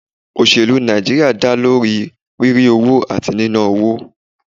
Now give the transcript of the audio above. Òṣèlú Nàìjíríà dá lórí rírí owó àti níná owó.